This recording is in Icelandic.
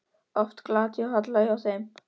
Oft er glatt á hjalla hjá þeim.